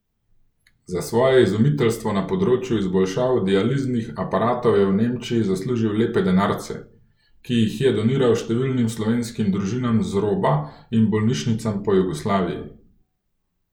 Za svoje izumiteljstvo na področju izboljšav dializnih aparatov je v Nemčiji zaslužil lepe denarce, ki jih je doniral številnim slovenskim družinam z roba in bolnišnicam po Jugoslaviji.